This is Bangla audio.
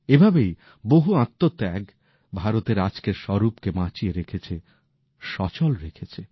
এভাবেই বহু আত্মত্যাগ ভারতের আজকের স্বরূপকে বাঁচিয়ে রেখেছে সচল রেখেছে